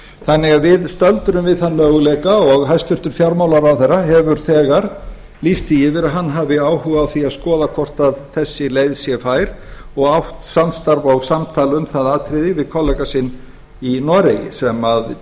þannig að við stöndum við þann möguleika og hæstvirtur fjármálaráðherra hefur þegar lýst því yfir að hann hafi áhuga á því að skoða hvort þessi leið sé fær og átt samstarf og samtal um það atriði við kollega sinn í noregi sem tók